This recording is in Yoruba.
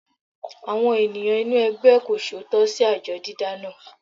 Àwọn ènìyàn inú ẹgbẹ́ kò ṣòótọ́ sí àjọ dídá náà.